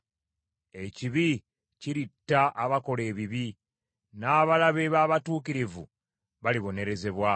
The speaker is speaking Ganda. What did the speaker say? Ekibi kiritta abakola ebibi, n’abalabe b’abatuukirivu balibonerezebwa.